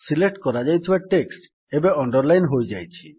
select କରାଯାଇଥିବା text ଏବେ underline ହୋଇଯାଇଛି